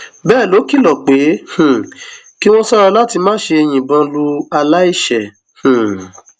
bẹẹ ló kìlọ pé um kí wọn ṣọra láti má ṣe yìnbọn lu aláìṣẹ um